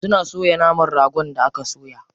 Suna soya naman ragon da aka soya.